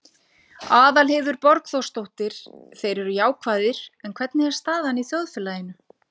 Aðalheiður Borgþórsdóttir: Þeir eru jákvæðir, en hvernig er staðan í þjóðfélaginu?